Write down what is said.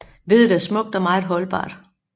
Veddet er smukt og meget holdbart